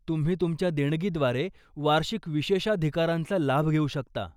तुम्ही तुमच्या देणगीद्वारे वार्षिक विशेषाधिकारांचा लाभ घेऊ शकता.